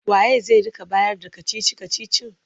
Wa ye zai rika bayarda kacici-kacicin?